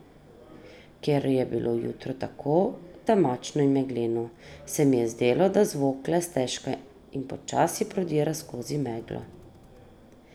Ker je bilo jutro tako temačno in megleno, se mi je zdelo, da zvok le stežka in počasi prodira skozi meglo.